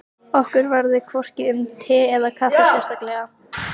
Þetta var vissulega raunalegra en tárum tæki.